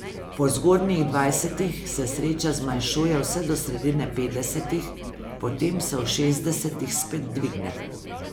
Po zgodnjih dvajsetih se sreča zmanjšuje vse do sredine petdesetih, potem se v šestdesetih spet dvigne.